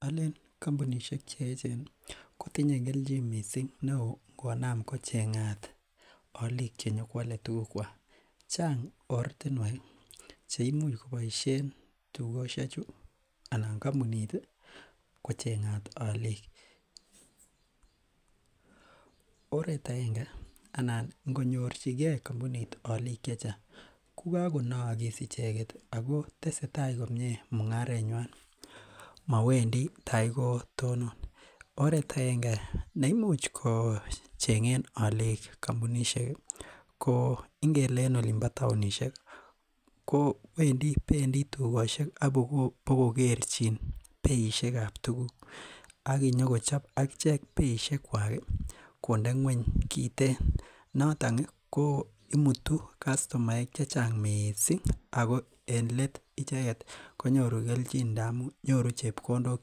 Aleen kompunisiek cheechen kotinye keljin missing neo konam kocheng'at olik chenyokwale tugukwak, chang' ortinwek cheimuch kobaisien tugosyechu anan kompunit ii kocheng'at oliik, oret agenge anan ngonyorchigen kompunit olik chechang' kokakonoogis icheget ako tesetai komyee mung'arenywan ako mowendi tagotonon, oretagenge neimuch kocheng'en ko ingele en olimpo taonisiek ko pendii tugosiek ak ibokogerchin beisiek ab tugik ak kinyokochob akichek beisiekwak kondenyweny kiten, noton komutu kastomaek chechang missing ako en leet icheget konyoru kelchin ndamun nyoru chepkondok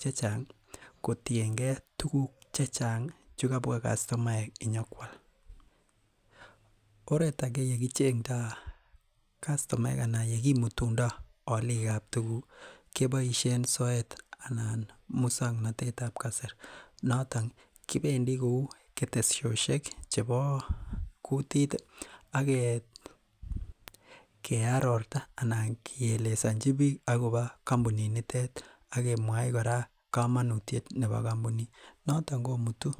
chechang' kotiengen ak tuguk chechang' chekabwa kastomaek inyokwal, oret age yekichengndo kastomaek anan yekimutundo olik ab tuguk keboisien soet anan musong'notet ab kasari, noton kibendi kou ketesyosyek chebo kutit akearorta anan keelesonchi biik akobo kompunit nitet akemwoi kora kamanutiet akobo kompunit noton komutu kastomaek.